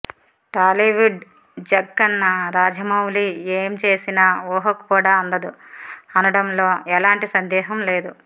టాలీవుడ్ జక్కన్న రాజమౌళి ఏం చేసినా ఊహకు కూడా అందదు అనడంలో ఎలాంటి సందేహం లేదు